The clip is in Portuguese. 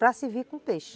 Para servir com peixe.